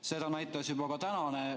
Seda näitas ka tänane.